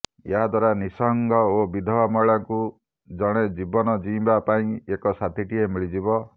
ଏହାଦ୍ୱାରା ନିଃସଙ୍ଗ ଓ ବିଧବା ମହିଳାଙ୍କୁ ଜଣେ ଜୀବନ ଜିଇଁବା ପାଇଁ ଏକ ସାଥୀଟିଏ ମିଳିଯିବ